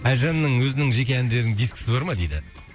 әлжанның өзінің жеке әндерінің дискісі бар ма дейді